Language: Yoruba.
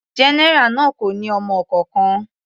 General náà kò ní ọmọ kankan.